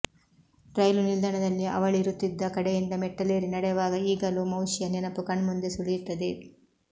ರೈಲು ನಿಲ್ದಾಣದಲ್ಲಿ ಅವಳಿರುತ್ತಿದ್ದ ಕಡೆಯಿಂದ ಮೆಟ್ಟಿಲೇರಿ ನಡೆವಾಗ ಈಗಲೂ ಮೌಶಿಯ ನೆನಪು ಕಣ್ಮುಂದೆ ಸುಳಿಯುತ್ತದೆ